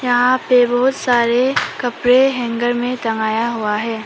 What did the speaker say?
यहां पे बहुत सारे कपड़े हैंगर में टंगया हुआ है।